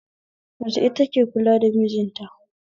Mace ita ke kula da mijinta